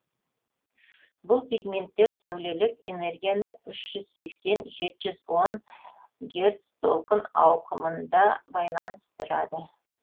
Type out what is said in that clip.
бұл пигменттер сәулелік энергияны үш жүз сексен жеті жүз он герц толқын ауқымында байланыстырады